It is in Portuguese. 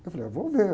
Eu falei, ah, vou ver.